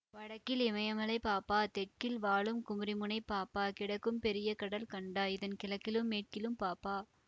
வடக்கில் இமயமலை பாப்பா தெற்கில் வாழும் குமரிமுனை பாப்பா கிடக்கும் பெரிய கடல் கண்டாய் இதன் கிழக்கிலும் மேற்கிலும் பாப்பா